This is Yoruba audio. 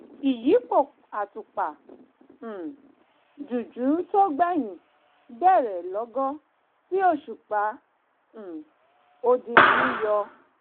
ìyípo àtùpà um jújù tó gbẹ̀yìn bẹ̀rẹ̀ lọ́gán tí òṣùpá um odindi yọ